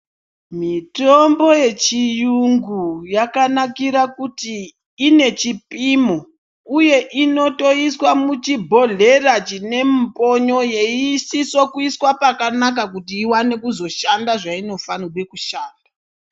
Mitombo yechiyungu yakanakira kuti inechipimo uye inotoiswa muchibhodhlera chine mumbonyo yeiisiswa kuiswa pakanaka kuti iwane kuzoshanda zvainofanikire kushanda.